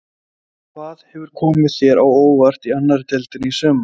Hvað hefur komið þér á óvart í annarri deildinni í sumar?